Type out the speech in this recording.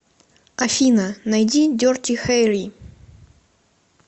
афина найди дерти хэрри